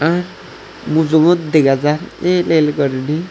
ahh mujungot dega jar el el gurine.